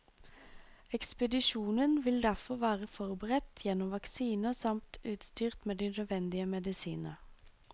Ekspedisjonen vil derfor være forberedt gjennom vaksiner samt utstyrt med de nødvendige medisiner.